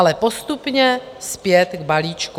Ale postupně zpět k balíčku.